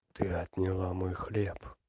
ты отняла мой хлеб